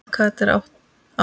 En hvað með þetta ár?